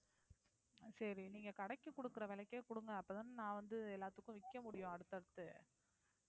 சரி நீங்க கடைக்கு குடுக்கற விலைக்கே குடுங்க அப்பதான் நான் வந்து எல்லாத்துக்கும் விக்க முடியும் அடுத்தடுத்து